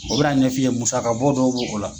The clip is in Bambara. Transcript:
O bɛ na ɲɛfɔ ye musa ka bɔ dɔw bo ko la.